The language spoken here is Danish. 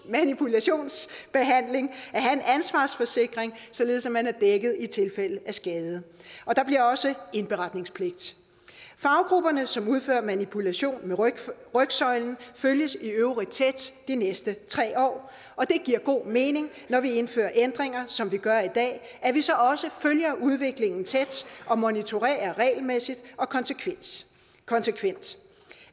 manipulationsbehandling at have en ansvarsforsikring således man er dækket i tilfælde af skade og der bliver også indberetningspligt faggrupperne som udfører manipulation af rygsøjlen følges i øvrigt tæt de næste tre år og det giver god mening når vi indfører ændringer som vi gør i dag at vi så også følger udviklingen tæt og monitorerer regelmæssigt og konsekvent konsekvent